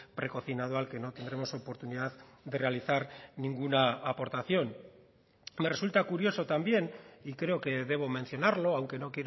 precocinado al que no tendremos oportunidad de realizar ninguna aportación me resulta curioso también y creo que debo mencionarlo aunque no